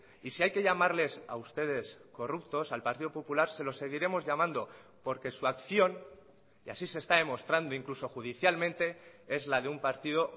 y si hay que llamarles a ustedes corruptos al partido popular se lo seguiremos llamando porque su acción y así se está demostrando incluso judicialmente es la de un partido